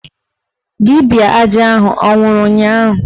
Dibịa aja ahụ anwụrụ ụnyaahụ?